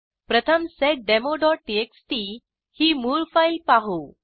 प्रथम seddemoटीएक्सटी ही मूळ फाईल पाहू